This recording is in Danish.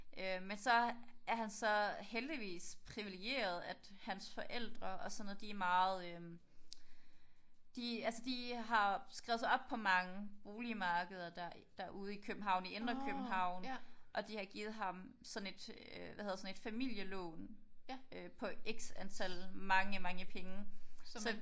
Men så er han så heldigvis privilegeret at hans forældre og sådan noget de er meget øh de altså de har skrevet sig op på mange boligmarkeder der derude i København i Indre København og de har givet ham sådan et hvad hedder sådan et familielån på x antal mange mange penge så